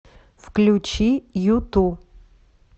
включи юту